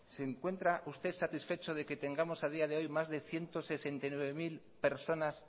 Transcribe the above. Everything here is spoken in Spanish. se encuentra usted satisfecho de que tengamos a día de hoy más de ciento sesenta y nueve mil personas